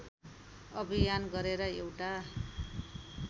अभियान गरेर एउटा